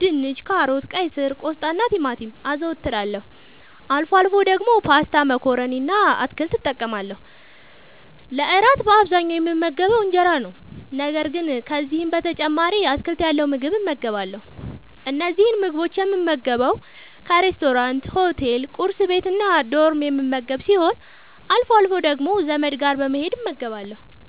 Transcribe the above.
ድንች፣ ካሮት፣ ቀይስር፣ ቆስጣናቲማቲም) አዘወትራለሁ። አልፎ አልፎ ደግሞ ፓስታ መኮረኒ እና አትክልት እጠቀማለሁ። ለእራት በአብዛኛዉ የምመገበዉ እንጀራ ነዉ። ነገር ግን ከዚህም በተጨማሪ አትክልት ያለዉ ምግብ እመገባለሁ። እነዚህን ምግቦች የምመገበዉ ካፌናሬስቶራንት፣ ሆቴል፣ ቁርስ ቤት፣ እና ዶርም የምመገብ ሲሆን አልፎ አልፎ ደግሞ ዘመድ ጋር በመሄድ እመገባለሁ።